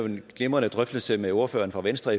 en glimrende drøftelse med ordføreren fra venstre